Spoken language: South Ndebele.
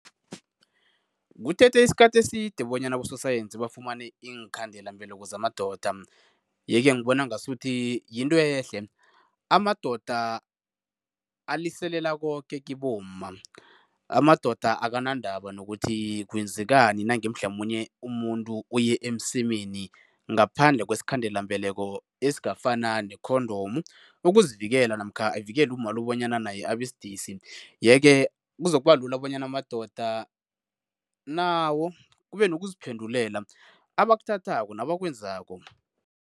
Kuthethe isikhathi eside bonyana abososayensi bafumane iinkhandelambeleko zamadoda, yeke ngibona ngasuthi yinto ehle. Amadoda aliselela koke kibomma, amadoda akanandaba nokuthi kwenzekani nange mhlamunye umuntu uye emsemeni ngaphandle kwesikhandelambeleko esingafana ne-condom ukuzivikela namkha avikele umma bonyana naye abesidisi, yeke kuzokuba lula bonyana amadoda nawo kube nokuziphendulela, abakuthathako nabakwenzako.